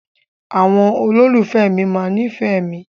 Àwọn olólùfẹ́ mi máa nífẹ̀ẹ́ mi.